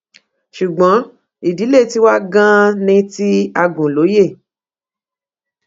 ṣùgbọ́n ìdílé tiwa ganan ní ti agùnlóyè